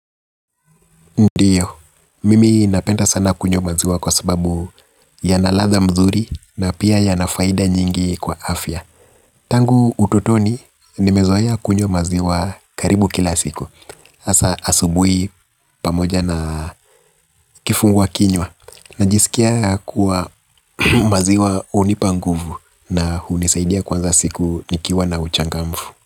Ndiyo, mimi napenda sana kunywa maziwa kwa sababu yana ladha mzuri na pia yana faida nyingi kwa afya. Tangu utotoni nimezoea kunywa maziwa karibu kila siku hasaa asubuhi pamoja na kifungua kinywa. Najisikia kuwa maziwa hunipa nguvu na hunisaidia kuanza siku nikiwa na uchangamfu.